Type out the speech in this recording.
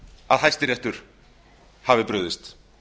að hæstiréttur hafi brugðist